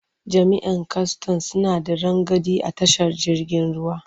Jami'an kwastan suna da rangadi a tashar jirgin ruwa.